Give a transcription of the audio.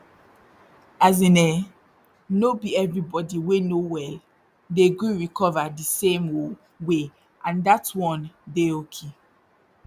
as in eh no be everybody wey no well dey gree recover di same oh way and dat one dey oki